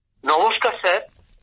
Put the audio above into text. গৌরব নমস্কার স্যার